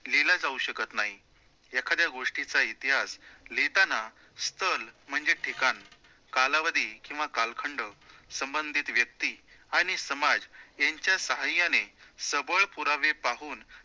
लिहिला जाऊ शकतं नाही. एखाद्या गोष्टीचा इतिहास लिहिताना स्थळ म्हणजे ठिकाण, कालावधी किंवा कालखंड संबंधित व्यक्ति आणि समाज यांच्या साह्याने सबळ पुरावे पाहून